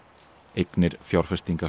eignir